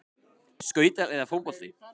Skautar eða fótbolti?